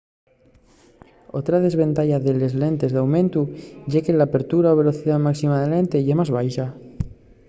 otra desventaya de les lentes d'aumentu ye que l'apertura o velocidá máxima de la lente ye más baxa